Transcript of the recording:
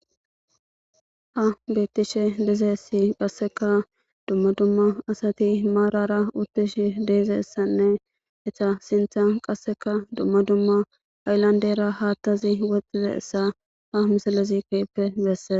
ha beettishe dizeessi qasseka dumma dumma asati maarara uttish de'izayssanne eta sintha qasseka dumma dumma hayllandera haathazi wothidaysa ha misalezi keyppe bessee